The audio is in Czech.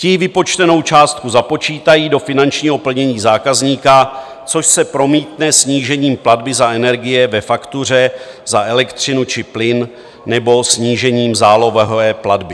Ti vypočtenou částku započítají do finančního plnění zákazníka, což se promítne snížením platby za energie ve faktuře za elektřinu či plyn nebo snížením zálohové platby.